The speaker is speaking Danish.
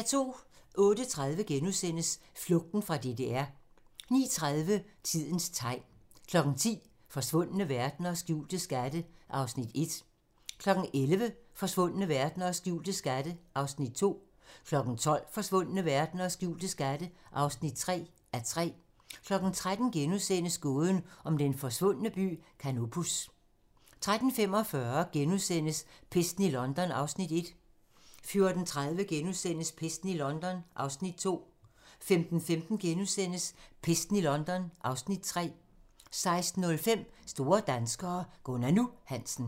08:30: Flugten fra DDR * 09:30: Tidens tegn 10:00: Forsvundne verdener og skjulte skatte (1:3) 11:00: Forsvundne verdener og skjulte skatte (2:3) 12:00: Forsvundne verdener og skjulte skatte (3:3) 13:00: Gåden om den forsvundne by Canopus * 13:45: Pesten i London (Afs. 1)* 14:30: Pesten i London (Afs. 2)* 15:15: Pesten i London (Afs. 3)* 16:05: Store danskere - Gunnar "Nu" Hansen